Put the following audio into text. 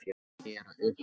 Ég er á uppleið.